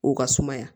O ka sumaya